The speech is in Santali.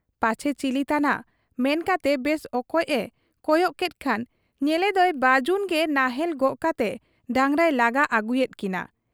ᱯᱟᱪᱷᱮ ᱪᱤᱞᱤ ᱛᱟᱱᱟᱜ ᱢᱮᱱᱠᱟᱛᱮ ᱵᱮᱥ ᱚᱠᱚᱡ ᱮ ᱠᱚᱭᱚᱜ ᱠᱮᱫ ᱠᱷᱟᱱ ᱧᱮᱞᱮᱫᱚᱭ ᱵᱟᱹᱡᱩᱱ ᱜᱮ ᱱᱟᱦᱮᱞ ᱜᱚᱜ ᱠᱟᱛᱮ ᱰᱟᱸᱜᱽᱨᱟᱭ ᱞᱟᱜᱟ ᱟᱹᱜᱩᱭᱮᱫ ᱠᱤᱱᱟ ᱾